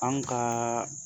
An ka